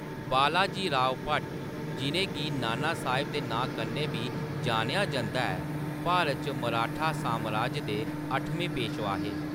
बालाजीराव भट, जिʼनें गी नाना साह्‌‌ब दे नांऽ कन्नै बी जानेआ जंदा ऐ, भारत च मराठा सामराज दे अट्ठमें पेशवा हे।